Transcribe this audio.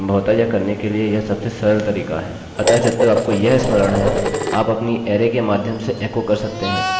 अतः जब तक आपको यह स्मरण है आप अपनी अरैarray के माध्यम से एकोecho कर सकते हैं अपने अरैarray के हर एक भाग पर ऑपरेशन कर सकते हैं और फिर सम्भवतः इसे एक नई अरैarray में संचय कर सकते हैं